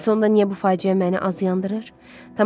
Bəs onda niyə bu faciə məni az yandırır?